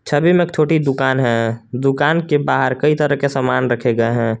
छवि में एक छोटी दुकान है दुकान के बाहर कई तरह के सामान रखे गए हैं।